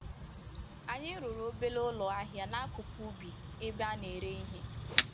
Anyi rụrụ obere ụlọ ahịa n'akụkụ ubi ebe a na-ere ihe